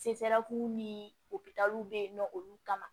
ni opitaliw be yen nɔ olu kama